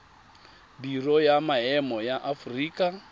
biro ya maemo ya aforika